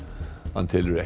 hann telur